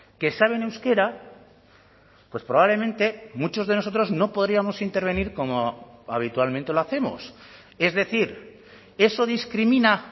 que saben euskera pues probablemente muchos de nosotros no podríamos intervenir como habitualmente lo hacemos es decir eso discrimina